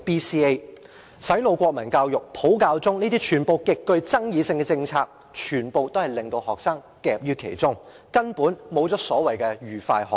洗腦國民教育、"普教中"這些極具爭議性的政策，全都令學生夾於其中，根本做不到所謂的"愉快學習"。